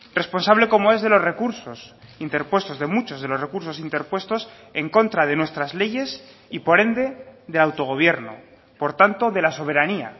responsable como es de los recursos interpuestos de muchos de los recursos interpuestos en contra de nuestras leyes y por ende del autogobierno por tanto de la soberanía